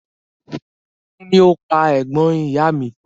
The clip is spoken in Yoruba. Kín ni ó pa ẹ̀gbọ́n ìyá a mi?